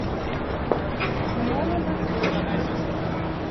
новый восточный